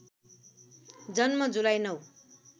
जन्म जुलाई ९